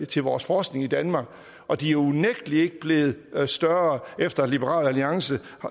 til vores forskning i danmark og de er unægtelig ikke blevet større efter at liberal alliance